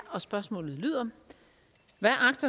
da